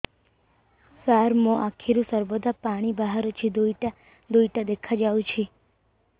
ସାର ମୋ ଆଖିରୁ ସର୍ବଦା ପାଣି ବାହାରୁଛି ଦୁଇଟା ଦୁଇଟା ଦେଖାଯାଉଛି